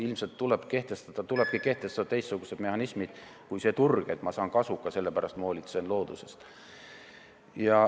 Ilmselt tulebki kehtestada teistsugused mehhanismid kui see turg, et ma saan kasuka, sellepärast ma hoolitsen looduse eest.